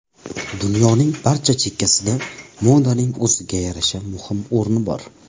Dunyoning barcha chekkasida modaning o‘ziga yarasha muhim o‘rni bor.